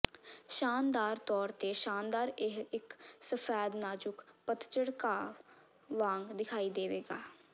ਸ਼ਾਨਦਾਰ ਤੌਰ ਤੇ ਸ਼ਾਨਦਾਰ ਇਹ ਇੱਕ ਸਫੈਦ ਨਾਜੁਕ ਪਤਝੜ ਘਾਹ ਵਾਂਗ ਦਿਖਾਈ ਦੇਵੇਗਾ